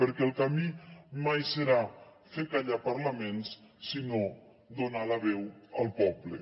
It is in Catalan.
perquè el camí mai serà fer callar parlaments sinó donar la veu al poble